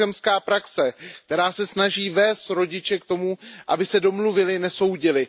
cochemská praxe, která se snaží vést rodiče k tomu, aby se domluvili, nesoudili.